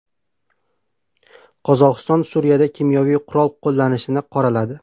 Qozog‘iston Suriyada kimyoviy qurol qo‘llanishini qoraladi.